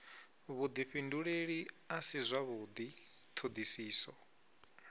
vhudifhinduleli a si zwavhudi thodisiso